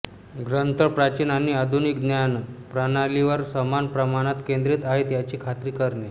ग्रंथ प्राचीन आणि आधुनिक ज्ञान प्रणालींवर समान प्रमाणात केंद्रित आहेत याची खात्री करणे